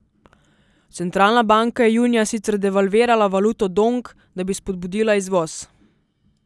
Centralna banka je junija sicer devalvirala valuto dong, da bi spodbudila izvoz.